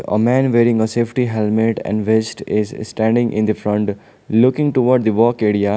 a man wearing a safety helmet and vest is standing in the front looking toward the walk area.